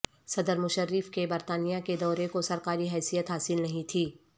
صدر مشرف کے برطانیہ کے دورے کو سرکاری حیثیت حاصل نہیں تھی